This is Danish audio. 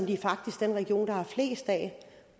de faktisk den region der har flest af